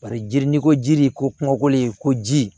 Paseke jiri ni ko ji ko de ye ko ji